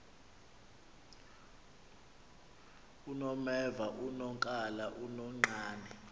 unomeva unonkala unonqane